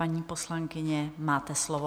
Paní poslankyně, máte slovo.